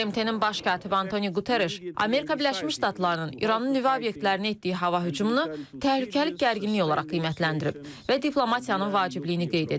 BMT-nin Baş katibi Antoni Quterreş Amerika Birləşmiş Ştatlarının İranın nüvə obyektlərinə etdiyi hava hücumunu təhlükəli gərginlik olaraq qiymətləndirib və diplomatiyanın vacibliyini qeyd edib.